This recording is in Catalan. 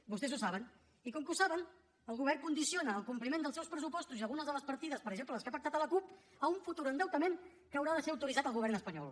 vostès ho saben i com que ho saben el govern condiciona el compliment dels seus pressupostos i algunes de les partides per exemple les que ha pactat amb la cup a un futur endeutament que haurà de ser autoritzat al govern espanyol